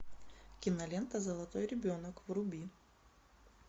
кинолента золотой ребенок вруби